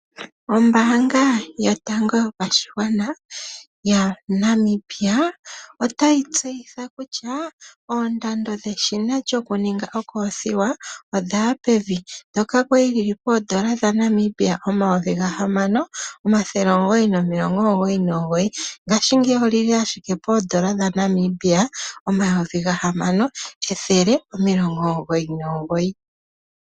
Ombaanga yotango yopashigwana yaNamibia otayi tseyitha kutya oondando dheshina lyokuninga okothiwa odhaya pevi ndhoka kwali dhili poondola dhaNamibia omayovi gahamano omathele omugoyi nomilongo omugoyi nomugoyi ngashingeyi odhili ashike poondola dhaNamibia omayovi gahamano ethele nomilongo omugoyi nomugoyi.